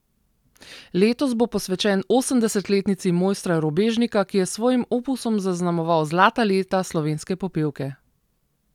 Letos bo posvečen osemdesetletnici mojstra Robežnika, ki je s svojim opusom zaznamoval zlata leta slovenske popevke.